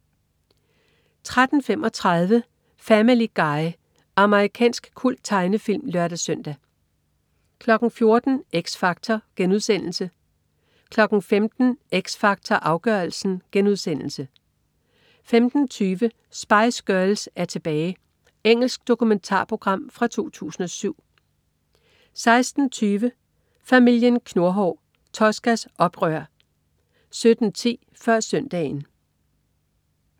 13.35 Family Guy. Amerikansk kulttegnefilm (lør-søn) 14.00 X Factor* 15.00 X Factor Afgørelsen* 15.20 Spice Girls er tilbage! Engelsk dokumentarprogram fra 2007 16.20 Familien Knurhår. Toscas oprør 17.10 Før Søndagen